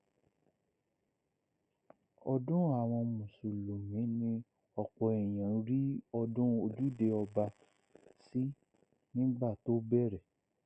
ọdún àwọn mùsùlùmí ni ọpọ èèyàn rí ọdún ojúde ọba sí nígbà tó bẹrẹ